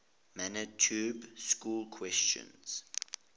manitoba schools question